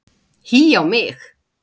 Hí á mig!